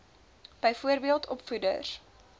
byvoorbeeld opvoeders